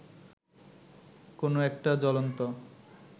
কোনো একটা জ্বলন্ত